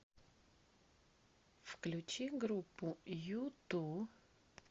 включи группу юту